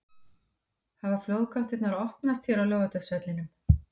Hafa flóðgáttirnar opnast hér á Laugardalsvellinum??